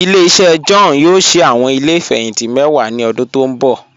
Ile-iṣẹ John yoo ṣii awọn ile ifẹhinti mẹ́wà ni ọ̀dún tó nbọ̀.